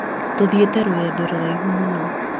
tũthiĩte rũgendo rũraihu mũno